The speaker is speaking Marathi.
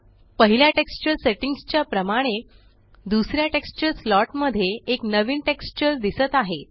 पहिल्या टेक्सचर सेट्टिंग्स च्या प्रमाणे दुसऱ्या टेक्सचर स्लॉट मध्ये एक नवीन टेक्सचर दिसत आहे